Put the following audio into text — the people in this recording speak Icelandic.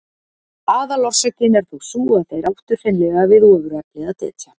Aðalorsökin er þó sú að þeir áttu hreinlega við ofurefli að etja.